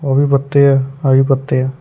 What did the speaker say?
ਉਹ ਵੀ ਪੱਤੇ ਆ ਆਹ ਵੀ ਪੱਤੇ ਆ।